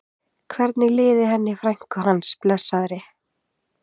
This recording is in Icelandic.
Hvernig liði henni frænku hans, blessaðri?